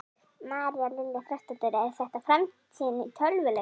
María Lilja Þrastardóttir: Er þetta framtíðin í tölvuleikjum?